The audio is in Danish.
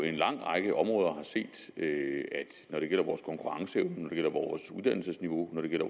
en lang række områder har set at når det gælder vores konkurrenceevne når det gælder vores uddannelsesniveau når det gælder